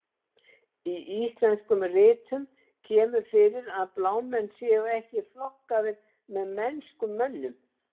Í íslenskum ritum kemur fyrir að blámenn séu ekki flokkaðir með mennskum mönnum.